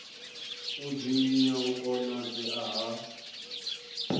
u dzinginya u konadzea ha